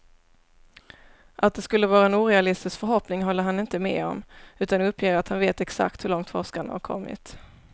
Att det skulle vara en orealistisk förhoppning håller han inte med om, utan uppger att han vet exakt hur långt forskarna har kommit.